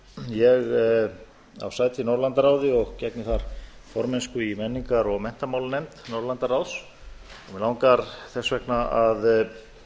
ég á sæti í norðurlandaráði og gegni þar formennsku í menningar og menntamálanefnd norðurlandaráðs og mig langar þess vegna að